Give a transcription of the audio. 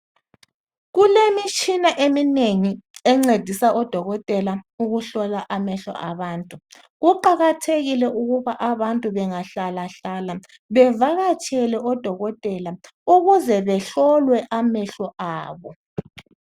Kulemitshina eminengi encedisa odokotela ukuhlola amehlo abantu. Kuqakathekile ukuba abantu benghlalahlala bevakatshele odokotela ukuze behlolwe amehlo abo.